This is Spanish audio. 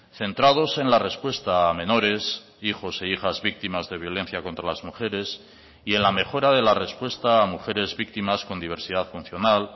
centrados en la respuesta a menores hijos e hijas víctimas de violencia contra las mujeres y en la mejora de la respuesta a mujeres víctimas con diversidad funcional